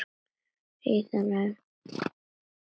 Síðan ræður nefið för.